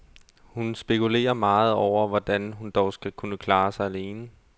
Hun spekulerer meget over, hvordan hun dog skal kunne klare sig alene.